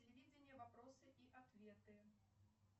телевидение вопросы и ответы